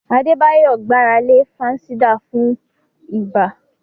Adebayo gbára lé fansidar fún ibà.